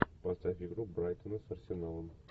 поставь игру брайтона с арсеналом